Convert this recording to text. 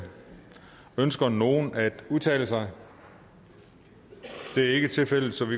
ønsker nogen at udtale sig det er ikke tilfældet så vi